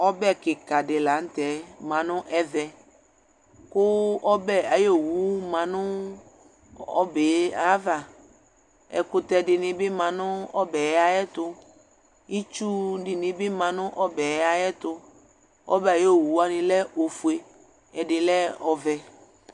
Ɔbɛ kika dila nutɛ manu ɛvɛ Ku ɔbɛ ayuowu mabu ɔbɛava Ɛkutɛ dinibi lanu ɔbɛ ayɛru Ɩtsu dinibi mabu ɔbɛ atɛtu Ɔbɛ ayowuwani lɛ ɔvɛ ɛdini ofye